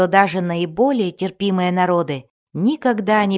даже наиболее терпимые народы никогда не